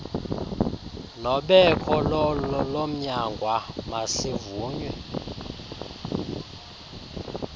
nobeko lomnyangwa masivunywe